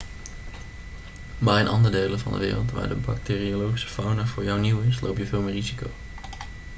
maar in andere delen van de wereld waar de bacteriologische fauna voor jou nieuw is loop je veel meer risico